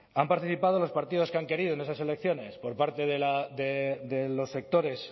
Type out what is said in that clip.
han participado los partidos que han querido en esas elecciones por parte de los sectores